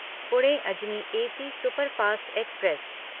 Pune Ajni AC superfast express